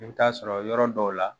I bɛ t'a sɔrɔ yɔrɔ dɔw la